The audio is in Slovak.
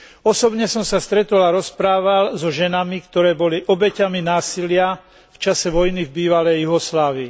Osobne som sa stretol a rozprával so ženami, ktoré boli obeťami násilia v čase vojny v bývalej Juhoslávii.